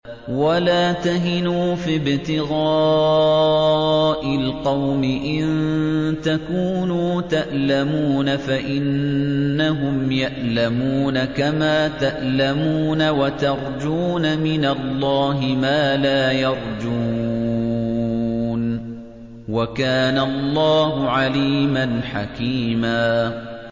وَلَا تَهِنُوا فِي ابْتِغَاءِ الْقَوْمِ ۖ إِن تَكُونُوا تَأْلَمُونَ فَإِنَّهُمْ يَأْلَمُونَ كَمَا تَأْلَمُونَ ۖ وَتَرْجُونَ مِنَ اللَّهِ مَا لَا يَرْجُونَ ۗ وَكَانَ اللَّهُ عَلِيمًا حَكِيمًا